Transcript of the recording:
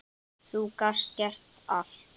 Þú gast gert allt.